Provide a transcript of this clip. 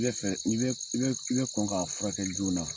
I bɛ fɛ, n'i bɛ, i bɛ i bɛ kɔn k'a furakɛ joona na.